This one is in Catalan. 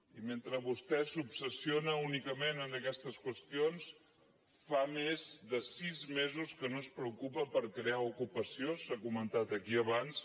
i mentre vostè s’obsessiona únicament en aquestes qüestions fa més de sis mesos que no es preocupa per crear ocupació s’ha comentat aquí abans